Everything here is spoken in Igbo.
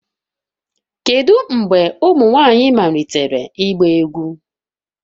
Kedu mgbe ụmụ nwanyị malitere ịgba egwu